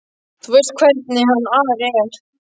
Þú veist hvernig hann Ari er.